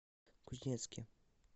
кузнецке